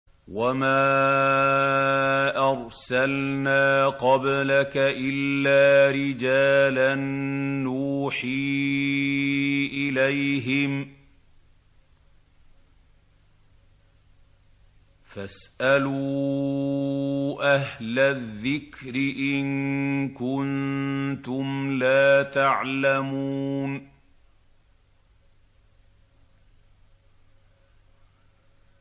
وَمَا أَرْسَلْنَا قَبْلَكَ إِلَّا رِجَالًا نُّوحِي إِلَيْهِمْ ۖ فَاسْأَلُوا أَهْلَ الذِّكْرِ إِن كُنتُمْ لَا تَعْلَمُونَ